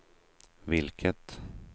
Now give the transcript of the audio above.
vilket